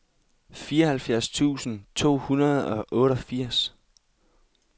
fireoghalvfjerds tusind to hundrede og otteogfirs